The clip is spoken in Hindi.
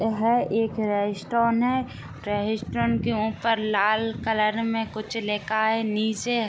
यह एक रेस्ट्रोन है रेस्ट्रोन के ऊपर लाल कलर में कुछ लिखा है निचे --